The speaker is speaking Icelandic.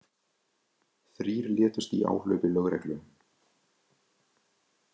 Þrír létust í áhlaupi lögreglu